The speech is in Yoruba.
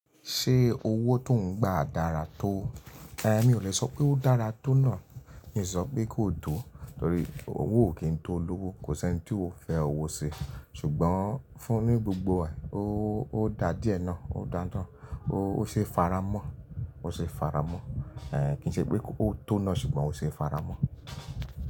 Ṣé owó tó ń gba dára tó? Mi ò le sọ pé ó dára tónà, mi si sọ pé kó tó, torí owó o kì n tó olówó, kò sẹ́n tí ò fẹ́ owó ṣi, ṣùgbọ́n fún ní gbogbo wà, ó dá díẹ̀ ná, ó dá ń tán, ó ṣe é fara mọ́, ó ṣe é fara mọ́. Kì í ṣe pé ó tónà ṣùgbọ́n ó ṣe é fara mọ́